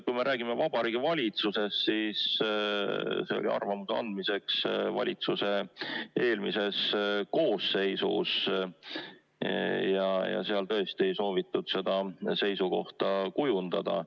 Kui me räägime Vabariigi Valitsusest, siis arvamuse pidi andma valitsuse eelmine koosseis ja seal tõesti ei soovitud seda seisukohta kujundada.